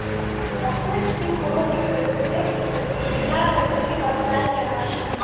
открой фильм роберта земекиса терминатор три восстание машин